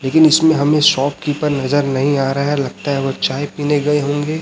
लेकिन इसमें हमें शॉप कीपर नजर नहीं आ रहा है लगता है वो चाय पीने गए होंगे।